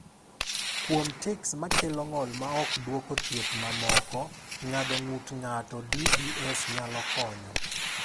Kuom tics ma kelo ng’ol ma ok dwoko thieth mamoko, ng’ado ng’ut ng’ato (DBS) nyalo konyo.